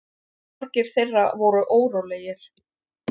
Margir þeirra voru órólegir.